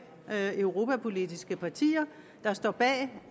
europapolitiske partier der står bag